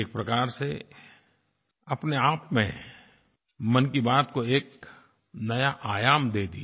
एक प्रकार से अपने आप में मन की बात को एक नया आयाम दे दिया